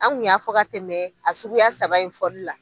An kun y'a fɔ ka tɛmɛ a suguya saba in fɔli la.